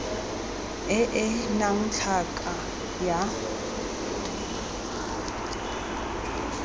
e e nnang tlhaka ya